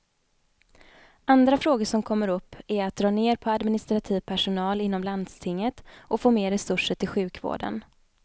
Andra frågor som kommer upp är att dra ner på administrativ personal inom landstinget och få mer resurser till sjukvården.